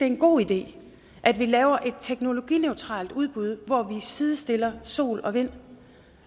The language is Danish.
en god idé at vi laver et teknologineutralt udbud hvor vi sidestiller sol og vind